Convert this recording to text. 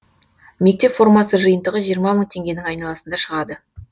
мектеп формасы жиынтығы жиырма мың теңгенің айналасында шығады